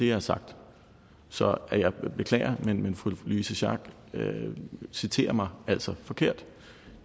har sagt så jeg beklager men fru louise schack elholm citerer mig altså forkert